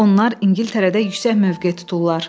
Onlar İngiltərədə yüksək mövqe tuturlar.